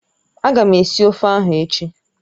Ága m esi ofe ahụ echi